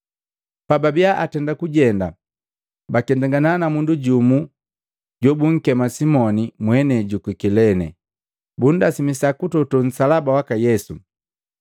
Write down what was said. Pababia atenda kujenda, baketangana na mundu jumu bunkema Simoni, mwenei juku Kilene, bunndasimisa kutoto nsalaba waka Yesu.